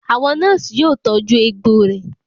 Àwọn nọ́ọ̀sì yóò tọ́jú ẹgbò rẹ.